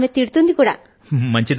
ఆమె మందలిస్తారు కూడాను